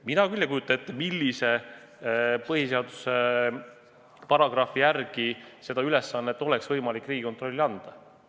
Mina küll ei kujuta ette, millise põhiseaduse paragrahvi järgi oleks võimalik seda ülesannet Riigikontrollile anda.